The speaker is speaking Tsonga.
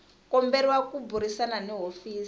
komberiwa ku burisana ni hofisi